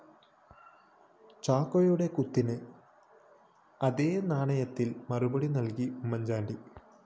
ചാക്കോയുടെ കുത്തിന് അതേ നാണയത്തില്‍ മറുപടി നല്കി ഉമ്മന്‍ചാണ്ടി